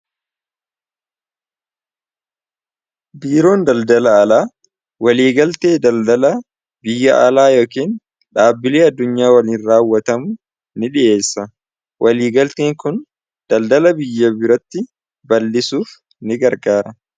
biiroon daldala alaa waliigaltee daldala biyya alaa yookain dhaabbilee addunyaa waliin raawwatamu ni dhiyeessa waliigaltiin kun daldala biyya biratti bal'isuuf ni gargaara